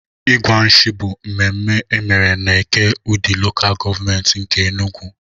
Ịgwa nshì bụ mmemme emere n'Eke, udi LGA nke Enugwu.